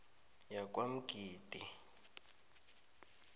yakwamgidi